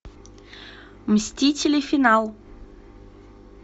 мстители финал